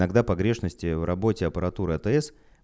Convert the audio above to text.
тогда погрешности в работе аппаратура атс